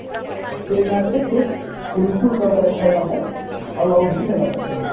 ସେ match ସେ ବିଲକୁଲ cover drive ଖେଳିଲା ନାହିଁ ଆଉ out ବି ହେଲାନି ସେ match ସେ